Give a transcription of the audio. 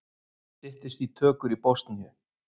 Styttist í tökur í Bosníu